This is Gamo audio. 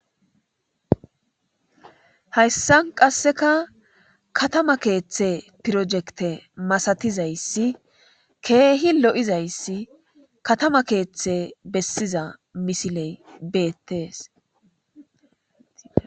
Hayssa qasseka katama keeththe pirojekte masatizayssi keehi lo'izayssi katama keeththe bessiza misiley beettes.